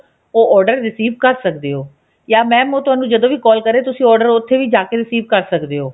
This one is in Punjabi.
ਉਹ order receive ਕਰ ਸਕਦੇ ਹੋ ਜਾਂ mam ਉਹ ਤੁਹਾਨੂੰ ਜਦੋਂ ਵੀ call ਕਰੇ ਤੁਸੀਂ order ਉੱਥੇ ਵੀ ਜਾਕੇ receive ਕਰ ਸਕਦੇ ਹੋ